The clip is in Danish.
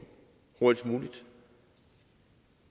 hurtigst muligt